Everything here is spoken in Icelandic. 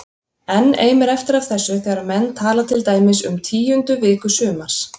Enn eimir eftir af þessu þegar menn tala til dæmis um tíundu viku sumars